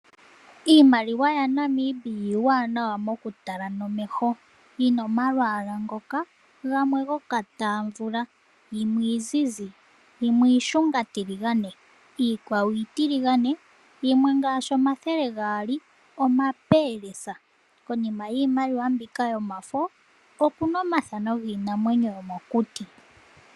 Iimaliwa yaNamibia iiwanawa okutala nomeho, yina omalwalwa ngoka gokatamvula yimwe iizizi, yimwe iishungatiligane, yimwe iitiligane nomathele gaali omapelesa. Konima yiimaliwa mbika okuna omathano giinamwenyo yomokuti.